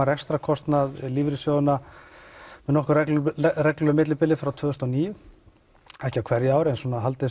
rekstrarkostnað lífeyrissjóðanna með nokkuð reglulegu millibili frá tvö þúsund og níu ekki á hverju ári en hef haldið